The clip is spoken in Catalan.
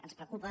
ens preocupa